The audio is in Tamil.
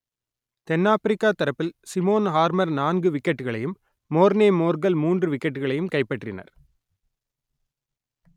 தென் ஆப்பிரிக்கா தரப்பில் சிமோன் ஹார்மர் நான்கு விக்கெட்டுகளையும் மோர்னே மோர்கல் மூன்று விக்கெட்டுகளையும் கைப்பற்றினர்